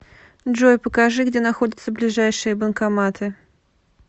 джой покажи где находятся ближайшие банкоматы